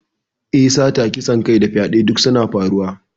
Eh, Sata, kisan kai da fyaɗe duk suna ƙaruwa.